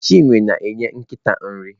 Chinwe na-enye nkịta nri.